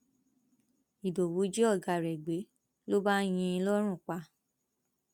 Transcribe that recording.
ìdòwú jí ọgá rẹ gbé ló bá yín in lọrùn pa